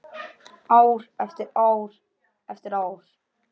Ár eftir ár eftir ár.